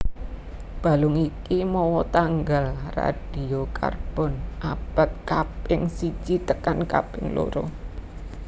Balung iku mawa tanggal radiokarbon abad kaping siji tekan kaping loro